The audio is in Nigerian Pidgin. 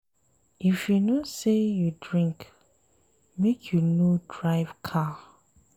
If you know sey you drink, make you no drive car.